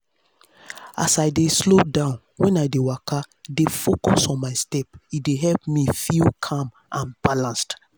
as i dey slow down when i dey waka dey focus on my step e dey help me feel calm and balanced.